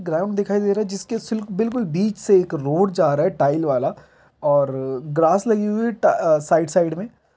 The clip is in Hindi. ग्राउड़ दिखाई दे रहा है जिसके सिल्क बिलकुल बीच से एक रोड जा रहा है टाइल वाला और ग्रास लगी हुए है साइड -साइड में--